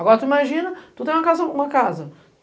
Agora tu imagina, tu tem uma casa.